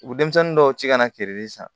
U bɛ denmisɛnnin dɔw ci ka na feereli san